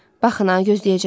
Baxın a, gözləyəcəm.